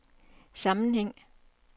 sammenhæng